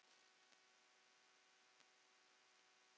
Jóhanna Margrét: Spenntur fyrir þessu?